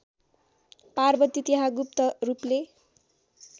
पार्वती त्यहाँ गुप्तरूपले